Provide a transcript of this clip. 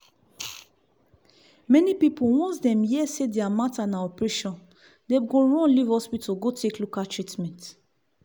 many pipu once dem here say deir matter na operation dem go run live hospital go take local treatment.